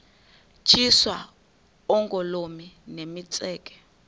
tyiswa oogolomi nemitseke